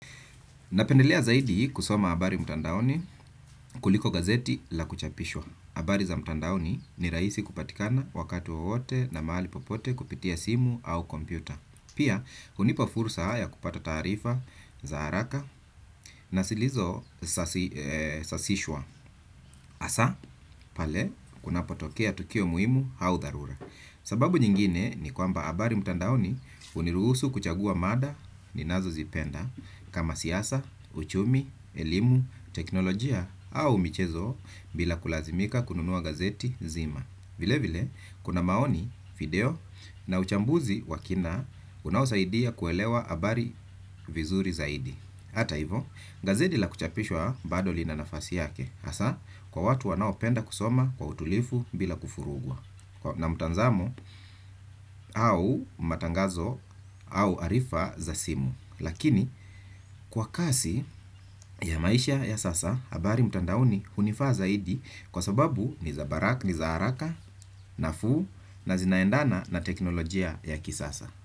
Napendelea zaidi kusoma habari mtandaoni kuliko gazeti la kuchapishwa. Habari za mtandaoni ni rahisi kupatikana wakati wowote na mahali popote kupitia simu au kompyuta. Pia, unipa fursa haya kupata taarifa za haraka na silizo sasishwa hasaa pale kuna potokea tukio muhimu au dharura. Sababu nyingine ni kwamba habari mtandaoni uniruhusu kuchagua mada ninazo zipenda kama siyasa, uchumi, elimu, teknolojia au michezo bila kulazimika kununuwa gazeti zima. Vile vile, kuna maoni, video na uchambuzi wakina unaosaidia kuelewa habari vizuri zaidi. Hata hivo, gazeti la kuchapishwa bado lina nafasi yake, hasa kwa watu wanao penda kusoma kwa utulivu bila kufurugwa. Na mtazamo au matangazo au arifa za simu lakini kwa kasi ya maisha ya sasa habari mtandaoni hunifaa zaidi. Kwa sababu, ni za haraka, nafuu na zinaendana na teknolojia ya kisasa.